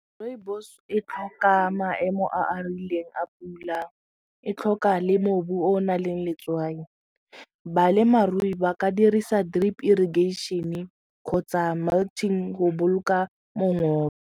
Rooibos e tlhoka maemo a a rileng a pula, e tlhoka le mobu o o nang le letswai. Balemarui ba ka dirisa drip irrigation-e kgotsa go boloka mongopo.